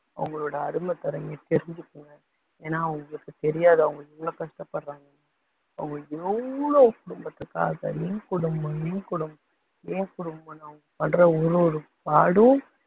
அவங்களோட அருமை பெருமையை தெரிஞ்சுக்கோங்க, ஏன்னா உங்களுக்கு தெரியாது அவங்க எவ்ளோ கஷ்டப்படுறாங்கன்னு, அவங்க எவ்ளோ குடும்பத்துக்காக என் குடும்பம் என் குடும்பம் என் குடும்பம்னு அவங்க படுற ஒரு ஒரு பாடும்